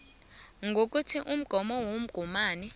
ngokuthi umgomo womgomani